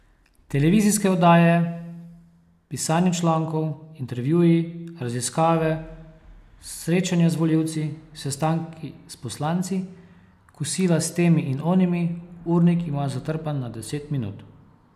Televizijske oddaje, pisanje člankov, intervjuji, raziskave, srečanja z volivci, sestanki s poslanci, kosila s temi in onimi, urnik ima zatrpan na deset minut.